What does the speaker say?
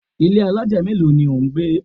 Ilé alájà mélòó ni ò ń gbé?